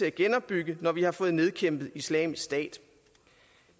at genopbygge når vi har fået nedkæmpet islamisk stat